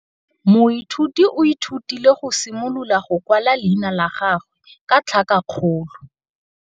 Moithuti o ithutile go simolola go kwala leina la gagwe ka tlhakakgolo.